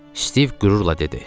Stiv qürurla dedi.